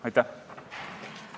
Aitäh!